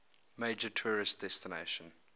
major tourist destination